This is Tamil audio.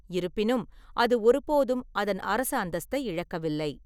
இருப்பினும், அது ஒருபோதும் அதன் அரச அந்தஸ்தை இழக்கவில்லை.